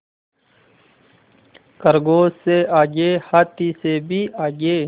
खरगोश से आगे हाथी से भी आगे